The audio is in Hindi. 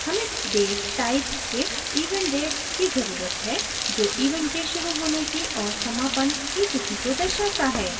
हमें date type के event date की जरूरत है जो event के शुरू होने की और समापन की तिथि को दर्शाता है